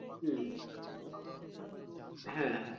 হম হ্যাঁ হ্যাঁ